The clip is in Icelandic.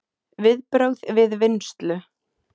Viðbrögð við vinnslu